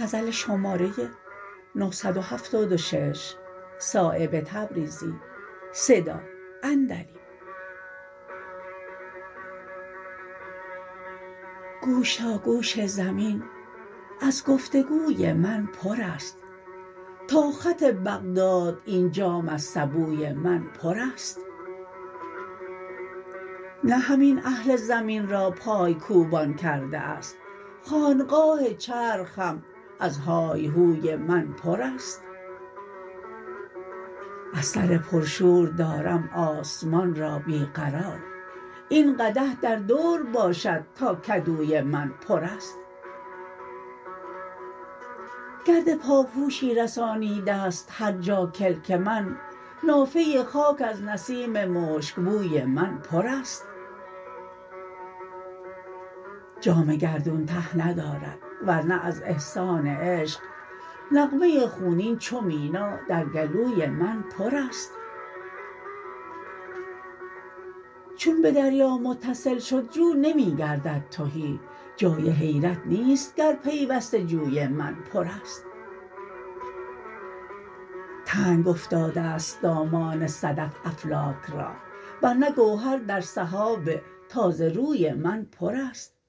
گوش تا گوش زمین از گفتگوی من پرست تا خط بغداد این جام از سبوی من پرست نه همین اهل زمین را پایکوبان کرده است خانقاه چرخ هم از هایهوی من پرست از سر پر شور دارم آسمان را بی قرار این قدح در دور باشد تا کدوی من پرست گرد پاپوشی رسانیده است هر جا کلک من نافه خاک از نسیم مشکبوی من پرست جام گردون ته ندارد ورنه از احسان عشق نغمه خونین چو مینا در گلوی من پرست چون به دریا متصل شد جو نمی گردد تهی جای حیرت نیست گر پیوسته جوی من پرست تنگ افتاده است دامان صدف افلاک را ورنه گوهر در سحاب تازه روی من پرست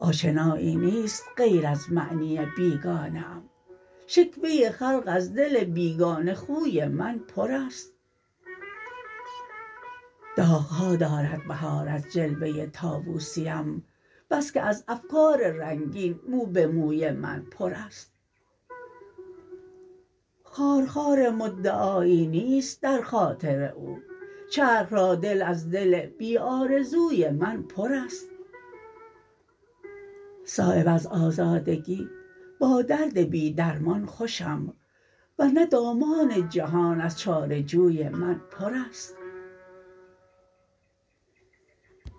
آشنایی نیست غیر از معنی بیگانه ام شکوه خلق از دل بیگانه خوی من پرست داغ ها دارد بهار از جلوه طاوسیم بس که از افکار رنگین مو به موی من پرست خارخار مدعایی نیست در خاطر او چرخ را دل از دل بی آرزوی من پرست صایب از آزادگی با درد بی درمان خوشم ور نه دامان جهان از چاره جوی من پرست